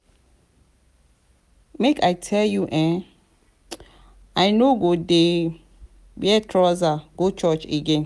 make i tell you eh i no go dey wear trouser go church again.